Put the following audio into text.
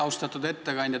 Austatud ettekandja!